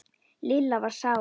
Lilla var sár.